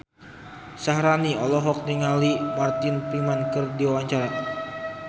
Syaharani olohok ningali Martin Freeman keur diwawancara